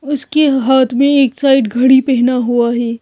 उसके हाथ में एक साइड घड़ी पहना हुआ है।